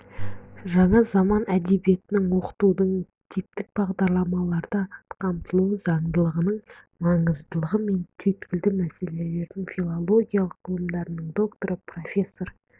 жаңа заман әдебиетінің оқытудың типтік бағдарламаларда қамтылу заңдылығының маңызыдылығы мен түйіткілді мәселелерін филология ғылымдарының докторы профессор